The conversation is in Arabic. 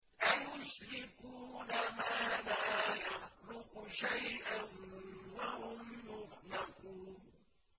أَيُشْرِكُونَ مَا لَا يَخْلُقُ شَيْئًا وَهُمْ يُخْلَقُونَ